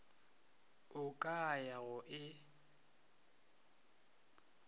o ka ya go e